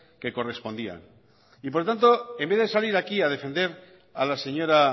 que correspondían y por tanto en vez de salir aquí a defender a la señora